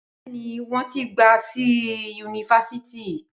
Bẹẹni wọn ti gba si yunifásítì